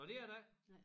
Nåh det er der ikke